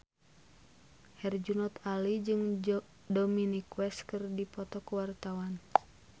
Herjunot Ali jeung Dominic West keur dipoto ku wartawan